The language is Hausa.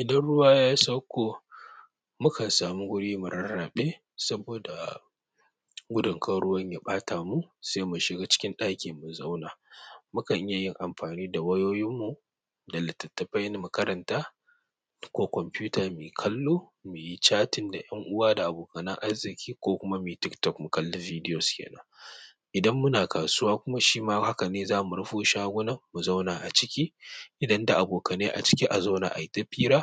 Idan ruwa ya sauko, mukan samu guri murarraɓe saboda gudun kar ruwan ya ɓata mu sai mu shiga cikin ɗaki mu zauna. Mukan iya yin amfani da wayoyin mu da littattafai mu makaranta ko kwamfuta muyi kallo muyi chatting da ƴan uwa da abokanan arziki ko kuma muyi tiktok mu kalli bidiyos kenan. Idan muna kasuwa kuma shima haka ne, za mu rufe shagunan mu zauna a ciki idan da abokanai a ciki a zauna ayi ta fira,